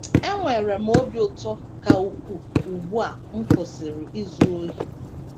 “ Enwere m obi ụtọ ka ukwuu ugbu a m kwụsịrị izu ohi..